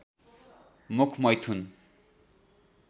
मुख मैथुन